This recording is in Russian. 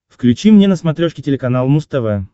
включи мне на смотрешке телеканал муз тв